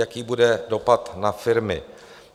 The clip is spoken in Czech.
Jaký bude dopad na firmy?